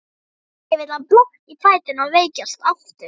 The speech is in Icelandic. Ekki vill hann blotna í fæturna og veikjast aftur.